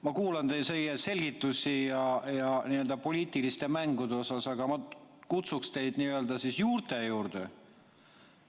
Ma kuulasin teie selgitusi poliitiliste mängude kohta, aga ma kutsuksin teid n-ö juurte juurde.